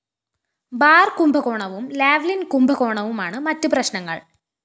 bar കുംഭകോണവും Lavalin‍ കുംഭകോണവുമാണ് മറ്റ് പ്രശ്‌നങ്ങള്‍